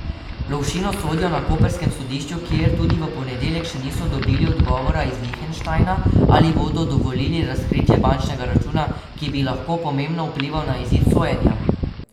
Lovšinu sodijo na koprskem sodišču, kjer tudi v ponedeljek še niso dobili odgovora iz Lihtenštajna, ali bodo dovolili razkritje bančnega računa, ki bi lahko pomembno vplival na izid sojenja.